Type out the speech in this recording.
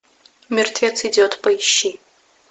мертвец идет поищи